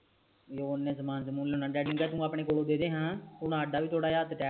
ਤੇ ਓਨੇ ਸਮਾਨ ਚ ਮੂਲ ਨਾ ਡੈਡੀ ਨੂੰ ਕੈ ਤੂੰ ਆਪਣੇ ਕੋਲ ਦੇਦੇ ਹੈ ਤੁਹਾਡਾ ਆਪਣਾ ਵੀ ਹੱਥ tight ਹੈ